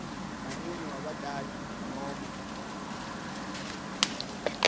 ngumunye webatali nobe